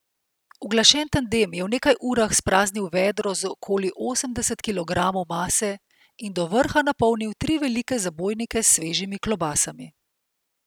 Uglašen tandem je v nekaj urah spraznil vedro z okoli osemdeset kilogramov mase in do vrha napolnil tri velike zabojnike s svežimi klobasami.